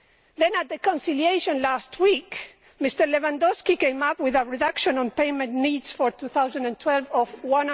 Then, at the conciliation last week, Mr Lewandowski came up with a reduction on payment needs for 2012 of EUR